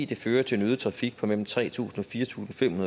det fører til en øget trafik på mellem tre tusind og fire tusind fem